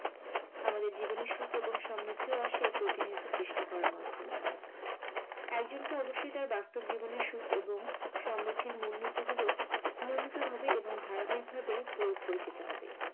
আমাদের জীবনে সুখ এবং সমৃদ্ধি আসে প্রতিনিয়ত চেষ্টা করার মাধ্যমে। একজনকে অবশ্যই তার বাস্তব জীবনের সুখ এবং সমৃদ্ধির মূলনীতি গুলো নিয়মিত ভাবে এবং ধারাবাহিক ভাবে প্রয়োগ করে যেতে হবে।